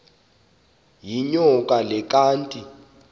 yinyoka le kanti